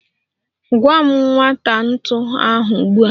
Gaa ma nweta ntu ahụ ugbu a!